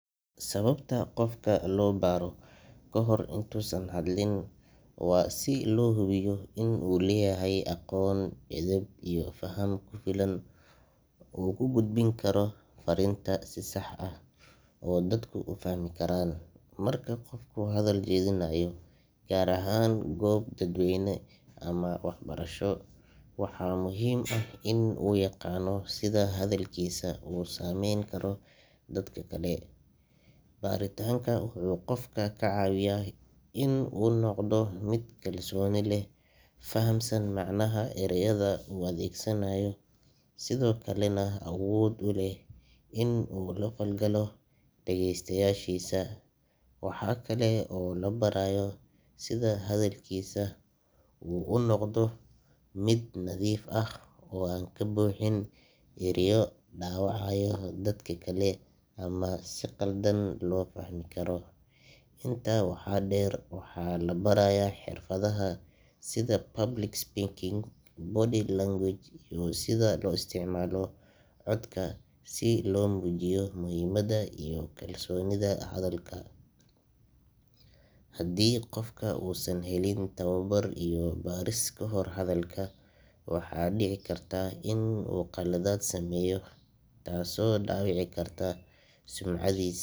Sababta qofka loo baro kahor intusan hadlin waa si loo hubiyo in uu leeyahay aqoon, edeb iyo faham ku filan oo uu ku gudbin karo fariinta si sax ah oo dadku u fahmi karaan. Marka qofku hadal jeedinayo, gaar ahaan goob dadweyne ama waxbarasho, waxaa muhiim ah in uu yaqaanno sida hadalkiisa u saameyn karo dadka kale. Baritaanka wuxuu qofka ka caawiyaa inuu noqdo mid kalsooni leh, fahamsan macnaha ereyada uu adeegsanayo, sidoo kalena awood u leh inuu la falgalo dhagaystayaashiisa. Waxa kale oo la barayaa sida hadalkiisa uu u noqdo mid nadiif ah oo aan ka buuxin ereyo dhaawacaya dadka kale ama si khaldan loo fahmi karo. Intaa waxaa dheer, waxaa la barayaa xirfadaha sida public speaking, body language, iyo sida loo isticmaalo codka si loo muujiyo muhiimadda iyo kalsoonida hadalka. Haddii qofka uusan helin tababar iyo baris kahor hadalka, waxaa dhici karta in uu khaladaad sameeyo, taas oo dhaawici karta sumcadiis.